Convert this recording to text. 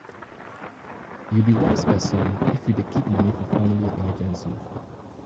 you be wise person if you dey keep moni for family emergency.